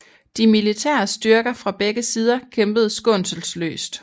De militære styrker fra begge sider kæmpede skånselsløst